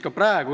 ...